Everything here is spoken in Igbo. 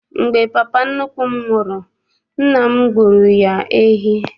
Mgbe papa nnukwu m nwụrụ, nna m gbuoro ya ehi.